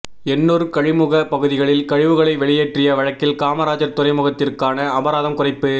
எண்ணூர் கழிமுக பகுதிகளில் கழிவுகளை வெளியேற்றிய வழக்கில் காமராஜர் துறைமுகத்திற்கான அபராதம் குறைப்பு